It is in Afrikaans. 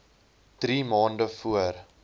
drie maande voor